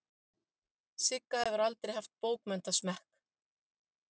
Sigga hefur aldrei haft bókmenntasmekk.